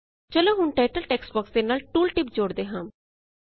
ਚਲੋ ਹੁਣ title text box ਦੇ ਨਾਲ ਟੂਲ ਟਿਪ ਜੋਡ਼ਦੇ ਹਾਂ